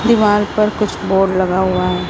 दीवार पर कुछ बोर्ड लगा हुआ हैं।